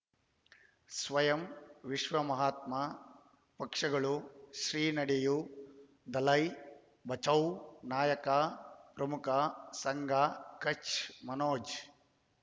ಸ್ವಯಂ ವಿಶ್ವ ಮಹಾತ್ಮ ಪಕ್ಷಗಳು ಶ್ರೀ ನಡೆಯೂ ದಲೈ ಬಚೌ ನಾಯಕ ಪ್ರಮುಖ ಸಂಘ ಕಚ್ ಮನೋಜ್